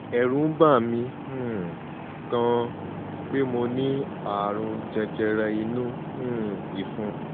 ẹ̀rù ń bà mí um gan-an pé mo ní ààrùn jẹjẹrẹ inú um ìfun